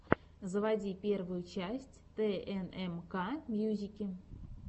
заводи первую часть тнмкмьюзики